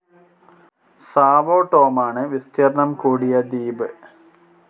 Sao ടോമാണ് വിസ്തീർണ്ണം കൂടിയ ദ്വീപ്.